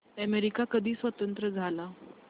America कधी स्वतंत्र झाला